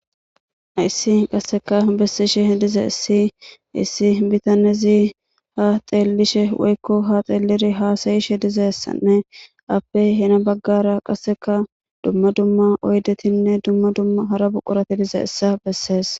Hayssi qasseka bessishe dizayssi issi bitanezi ha xeellishe woykko ha xeeliri haasayishe dizayssanne appe hina baggara qasseka dumma dumma oydetinne dumma dumma hara buqurati dizayssa bessees.